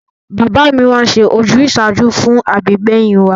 Bàbá mi máa ń ṣe ojúsàájú fún àbígbẹ̀yìn wa